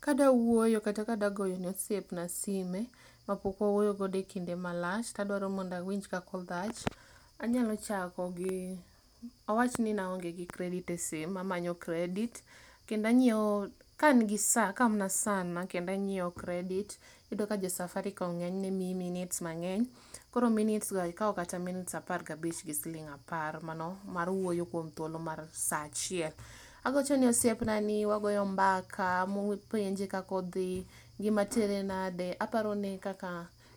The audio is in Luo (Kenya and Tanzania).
Kadwa woyo kata kadwa goyo ne osiepna simu mapokwawuoyo go e kinda malach kendo awinj kaka odhach anyalo chako gi , awach ni aonge gi credit e simu amanyo credit kendo anyiewo , ka an gi saa sana kendo anyiewo credit. iyudo ka josafaricom ngenyne mii minutes mangeny koro minutes[sc] go ikao kata minutes 15 gi shillings 10 mano mar woyo kuom thuolo mar saa achiel agochone osiepna ni wagoyo mbaka apenje kaka odhi, ngima tere nade aparone